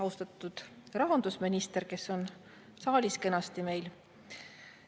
Austatud rahandusminister, kes on meil kenasti saalis!